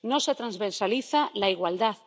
No se transversaliza la igualdad.